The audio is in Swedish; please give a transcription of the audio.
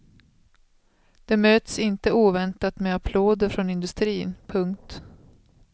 Det möts inte oväntat med applåder från industrin. punkt